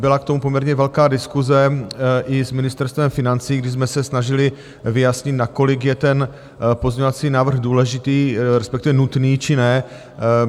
Byla k tomu poměrně velká diskuse i s Ministerstvem financí, kdy jsme se snažili vyjasnit, nakolik je ten pozměňovací návrh důležitý, respektive nutný, či ne.